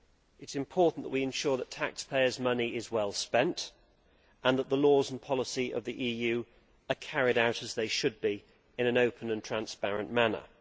It is important that we ensure that taxpayers' money is well spent and that the laws and policy of the EU are carried out as they should be, in an open and transparent manner.